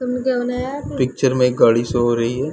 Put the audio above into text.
Picture में एक गाड़ी शो हो रही है।